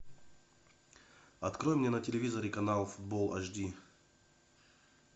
открой мне на телевизоре канал футбол аш ди